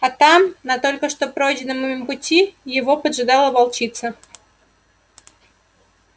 а там на только что пройденном ими пути его поджидала волчица